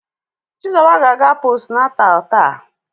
Chizuba ga-aga postnatal taa.